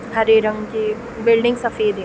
हरे रंग के बिल्डिग सफेद है।